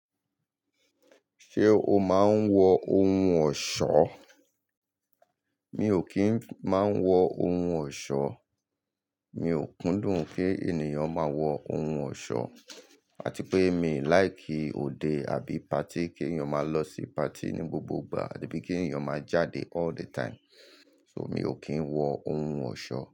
Ṣé o máa ń wọ ohun ọ̀ṣọ́? Mi ò kí ń máa ń wọ ohun ọ̀ṣọ́. Mi ò kúndùn pé ènìyàn máa wọ ohun ọ̀ṣọ́. Àti pé mi ò láìkì òde àbí patí kí ènìyàn máa lọ sí patí ní gbogbo ìgbà àbí pé kí ènìyàn máa jáde all the time. So mi ò kí ń wọ ohun ọ̀ṣọ́